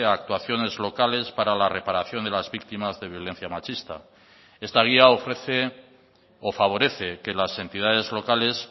actuaciones locales para la reparación de las víctimas de violencia machista esta guía ofrece o favorece que las entidades locales